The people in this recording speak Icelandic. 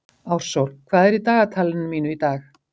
Ársól, hvað er í dagatalinu mínu í dag?